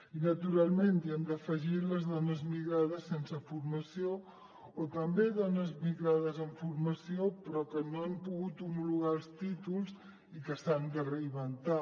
i naturalment hi hem d’afegir les dones migrades sense formació o també dones migrades amb formació però que no han pogut homologar els títols i que s’han de reinventar